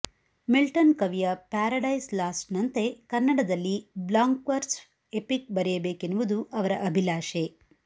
Milton ಕವಿಯ Paradise ಲಾಸ್ಟ್ನಂತೆ ಕನ್ನಡದಲ್ಲಿ ಬ್ಲಾಂಕ್ವರ್ಸ್ ಎಪಿಕ್ ಬರೆಯಬೇಕೆನ್ನುವುದು ಅವರ ಅಭಿಲಾಷೆ